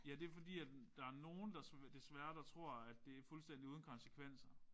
Ja det er fordi at der er nogen der desværre der tror at det er fuldstændig uden konsekvenser